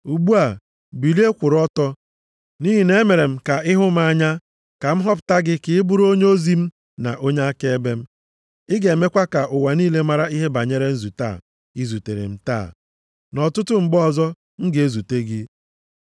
Ugbu a, bilie, kwụrụ ọtọ! Nʼihi na-emere m ka ị hụ m anya, ka m họpụta gị ka ị bụrụ onyeozi m na onye akaebe m. Ị ga-emekwa ka ụwa niile mara ihe banyere nzute a i zutere m taa, na ọtụtụ mgbe ọzọ m ga-ezute gị.